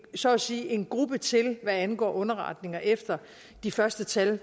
så at sige en gruppe til hvad angår underretninger efter at de første tal